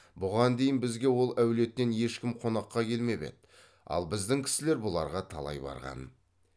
бұған дейін бізге ол әулеттен ешкім қонаққа қелмеп еді ал біздің кісілер бұларға талай барған